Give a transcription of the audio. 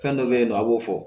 Fɛn dɔ be yen nɔ a b'o fɔ